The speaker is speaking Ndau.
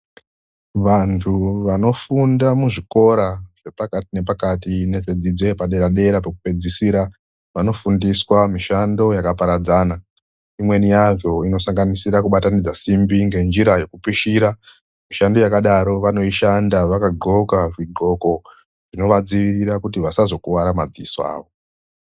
Vantu vanofunda muzvikora zvepakati nezvepadera pekupedzisira vanofundiswa mushando yakaparadzana vamweni vanofunda kubudikidza ngekubatanidza simbi veyipishira vakadhloka zviro zvinoita kuti vasakuwara madziao avo